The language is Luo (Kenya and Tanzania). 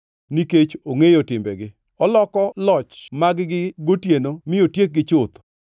Nikech ongʼeyo timbegi oloko loch mag-gi gotieno mi otiekgi chuth.